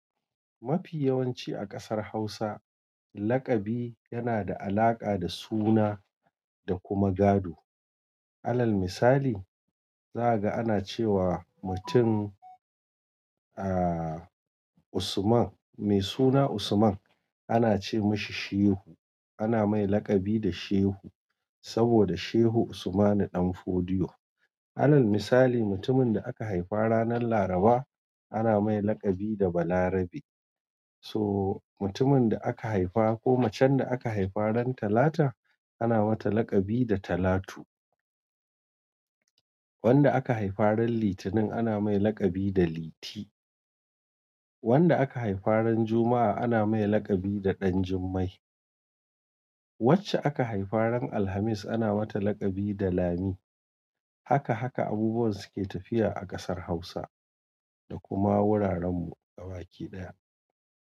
Mafi yawanci a ƙasar Hausa, laƙabi yana da alaƙa da suna da kuma gado. Alal misali, zakaga ana ce wa mutum, ah, Usman, mai suna Usman ana ce mashi Shehu. Ana mai laƙabi da Shehu saboda Shehu Usman Danfodiyo. Alal misali, mutumin da aka haifa ranar Laraba ana mai laƙabi da Balarabe. So mutumin da aka haifa ko macen da aka haifa ran Talata ana mata laƙabi da Talatu. Wanda aka haifa ran Litinin ana mai laƙabi da Liti. Wanda aka haifa ran Juma'a ana mai laƙabi da Ɗanjummai. Wacce aka haifa ran Alhamis ana mata laƙabi da Lami. Haka haka abubuwan suke tafiya a ƙasar Hausa da kuma wuraren mu gabaki ɗaya.